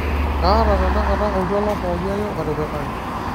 kaata tenakata oltuala pooki ake otipikaki